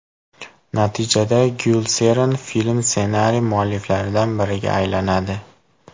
Natijada Gyulseren film ssenariy mualliflaridan biriga aylanadi.